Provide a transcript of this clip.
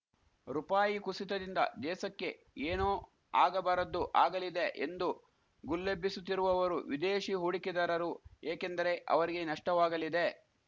ರುಪಾಯಿ ಕುಸಿತದಿಂದ ದೇಸಕ್ಕೆ ಏನೋ ಆಗಬಾರದ್ದು ಆಗಲಿದೆ ಎಂದು ಗುಲ್ಲೆಬ್ಬಿಸುತ್ತಿರುವವರು ವಿದೇಶಿ ಹೂಡಿಕೆದಾರರು ಏಕೆಂದರೆ ಅವರಿಗೆ ನಷ್ಟವಾಗಲಿದೆ